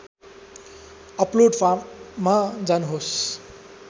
upload फार्ममा जानुहोस्